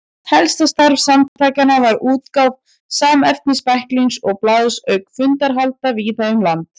Helsta starf samtakanna var útgáfa samnefnds bæklings og blaðs auka fundahalda víða um land.